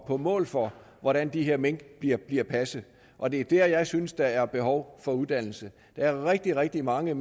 på mål for hvordan de her mink bliver bliver passet og det er dér at jeg synes der er behov for uddannelse der er rigtig rigtig mange